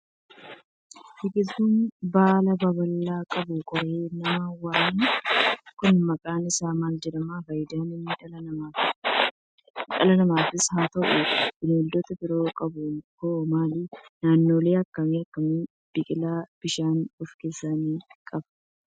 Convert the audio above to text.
Biqiltuun baala babal'aa qabu, qoree nama waraanu kun maqaan isaa maal jedhama? Faayidaa inni dhala namaafis haa ta'u, bineeldota biroof qabu hoo maali? Naannolee akkam akkamiitti biqila? Bishaan of keessaa ni qabaa?